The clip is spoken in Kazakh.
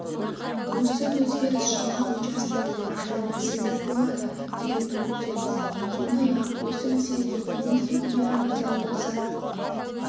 осы өзгеріс жаңа учаскелердің ашылуына себеп болады деген үміттеміз сондай-ақ осы мәселеге бизнес өкілдері назар аударса